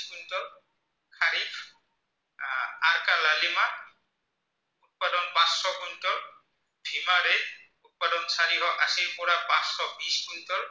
অ আশীৰ পৰা পাঁচশ বিছ কুইন্টল